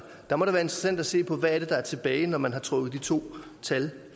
der må det være interessant at se på hvad der er tilbage når man har trukket de to tal